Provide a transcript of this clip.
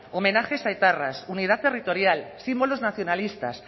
homenajes a etarras unidad territorial símbolos nacionalistas